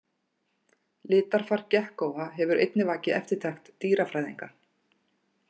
Litarfar gekkóa hefur einnig vakið eftirtekt dýrafræðinga.